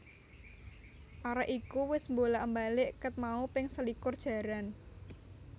Arek iku wes mbolak mbalik ket mau ping selikur jaran